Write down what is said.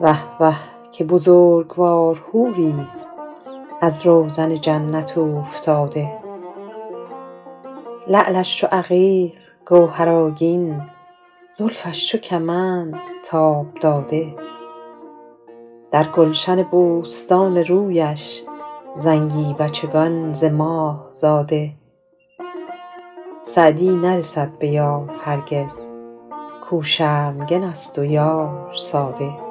وه وه که بزرگوار حوریست از روزن جنت اوفتاده لعلش چو عقیق گوهرآگین زلفش چو کمند تاب داده در گلشن بوستان رویش زنگی بچگان ز ماه زاده سعدی نرسد به یار هرگز کاو شرمگن است و یار ساده